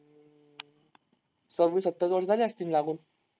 सव्वीस-सत्तावीस वर्षं झाले असतील लागून.